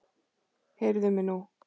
Heyrðu mig nú!